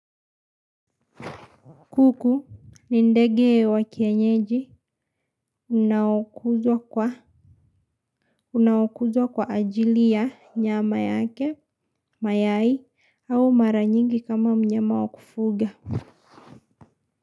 Kuku ni ndege wa kienyeji unaokuzwa kwa ajili ya nyama yake mayai au mara nyingi kama mnyama wa kufuga.